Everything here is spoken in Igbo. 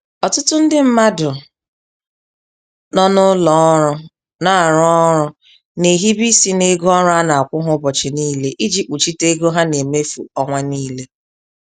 Ọtụtụ ndị mmadụ nọ n'ụlọ ọrụ na-arụ ọrụ na-ehibe isi n'ego ọrụ a na-akwụ ha ụbọchị niile iji kpuchite ego ha na-emefu ọnwa niile.